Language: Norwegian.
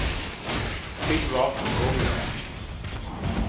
Yngvar Hågensen